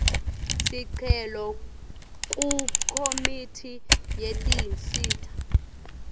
sicelo kukomiti yetinsita